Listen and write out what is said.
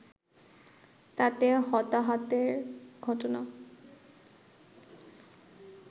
তাতে হতাহতের ঘটনা